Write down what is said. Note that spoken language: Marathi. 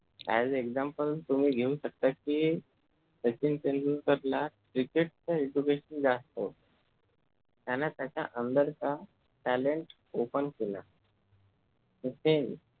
and example तुम्ही घेऊ शकता कि सचिन तेंडुलकर ला cricket चा education जास्त होत त्याने त्याच्या under चा talent open केला सचिन